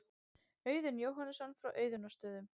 Auðunn Jóhannesson frá Auðunnarstöðum.